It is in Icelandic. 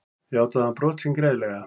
Játaði hann brot sín greiðlega